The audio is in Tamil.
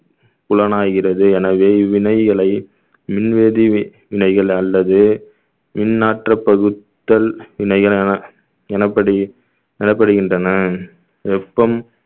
புலன் ஆகிறது எனவே இவ்வினைகளை மின் வேதி வினைகள் அல்லது மின் ஆற்றப் பகுத்தல் வினைகள் எனப்~ எனப்படி~ எனப்படுகின்றன வெப்பம்